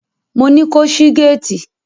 Mo ní ko ṣí géétì!